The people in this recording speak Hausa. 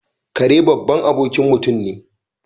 Kare babban abokin mutum ne.